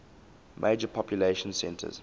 major population centers